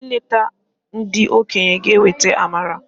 I leta ndị okenye g'eweta amara.